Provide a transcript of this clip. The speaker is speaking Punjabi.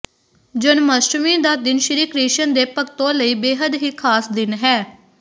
ਜਨਮਾਸ਼ਟਮੀ ਦਾ ਦਿਨ ਸ਼੍ਰੀ ਕ੍ਰਿਸ਼ਣ ਦੇ ਭਕਤੋਂ ਲਈ ਬੇਹੱਦ ਹੀ ਖਾਸ ਦਿਨ ਹੈ